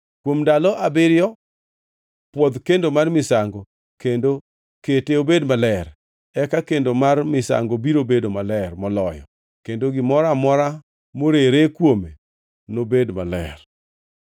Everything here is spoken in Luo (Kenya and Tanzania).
Kuom ndalo abiriyo pwodh kendo mar misango kendo kete obed maler. Eka kendo mar misango biro bedo maler moloyo kendo gimoro amora morere kuome nobed maler.